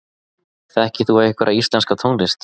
Þekkir þú einhverja íslenska tónlist?